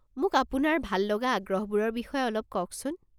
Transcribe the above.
মোক আপোনাৰ ভাল লগা আগ্ৰহবোৰৰ বিষয়ে অলপ কওকচোন।